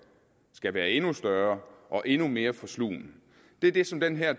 skal være endnu større og endnu mere forslugne det er det som den her